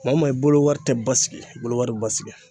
Maa maa i bolowari tɛ basigi i bolo wari bɛ basigi.